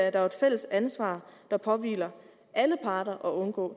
et fælles ansvar der påhviler alle parter at undgå